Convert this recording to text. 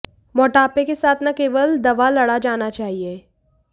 मोटापे के साथ न केवल दवा लड़ा जाना चाहिए